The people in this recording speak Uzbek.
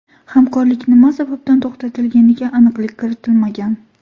Hamkorlik nima sababdan to‘xtatilganiga aniqlik kiritilmagan.